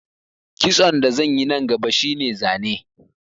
Kitson da zan yi nan gaba shi ne zane